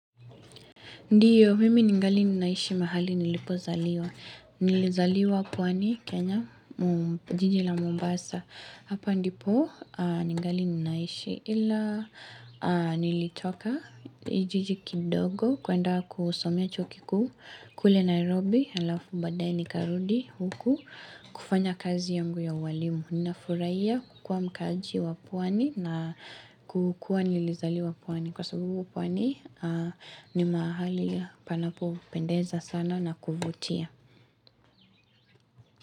Ndiyo, mimi ningali ninaishi mahali nilipozaliwa. Nilizaliwa pwani Kenya, jiji la Mombasa. Hapa ndipo ningali ninaishi ila nilitoka, jiji kidogo, kwenda kusomea chuo kikuu, kule Nairobi, halafu baadae nikarudi huku, kufanya kazi yangu ya ualimu. Ninafurahia kukua mkaaji wa pwani na kukua nilizaliwa pwani. Kwa sababu pwani ni mahali panapopendeza sana na kuvutia.